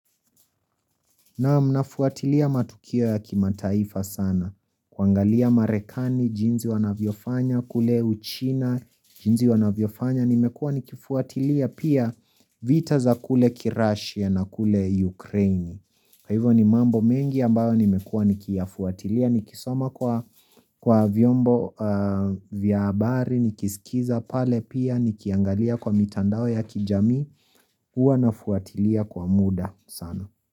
Na mnafuatilia matukio ya kimataifa sana kuangalia marekani, jinzi wanavyofanya, kule uchina, jinzi wanavyofanya nimekua nikifuatilia pia vita za kule kirashia na kule ukraine kwa hivyo ni mambo mengi ambayo nimekua nikiyafuatilia nikisoma kwa kwa vyombo a vyabari, nikisikiza, pale pia nikiangalia kwa mitandao ya kijami Uwa nafuatilia kwa muda sana.